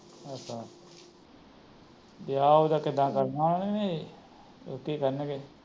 ਅੱਛਾ ਵਿਆਹ ਉਦਾ ਕਰਨਾ ਏ ਜਾ ਉਥੇ ਈ ਕਰਣਗੇ